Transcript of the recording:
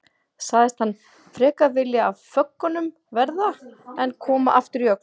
Sagðist hann frekar vilja af föggunum verða en koma aftur í Öxl.